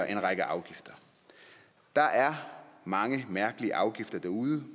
en række afgifter der er mange mærkelige afgifter derude